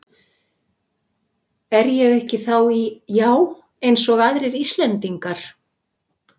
Er ég ekki þá í, já eins og aðrir Íslendingar?